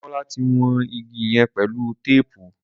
Demola tí wón ìgi yén pẹlú téèpù.